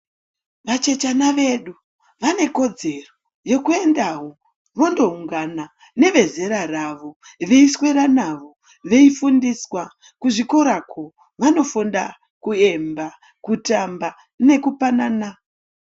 Vachechana vedu vanekodzero yekuendawo vondoungana nevezera ravo veiswera navo ,veifundiswa kuzvikorako vanofundiswa kuemba, kutamba nekupanana